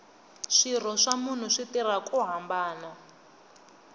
swirho swa munhu swi tirha ku hambana